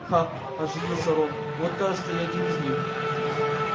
ха оживился рон вот кажется и один из них